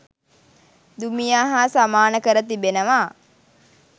දුමියා හා සමාන කර තිබෙනවා